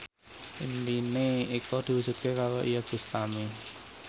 impine Eko diwujudke karo Iyeth Bustami